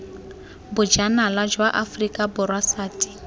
bojanala jwa aforika borwa sati